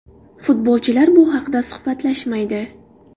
Futbolchilar bu haqida suhbatlashmaydi.